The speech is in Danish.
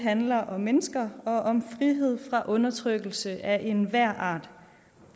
handler om mennesker og om frihed fra undertrykkelse af enhver art